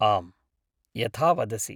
आम्, यथा वदसि।